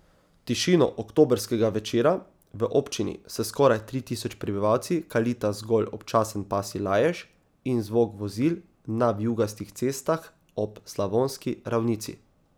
Tišino oktobrskega večera v občini s skoraj tri tisoč prebivalci kalita zgolj občasen pasji lajež in zvok vozil na vijugastih cestah ob slavonski ravnici.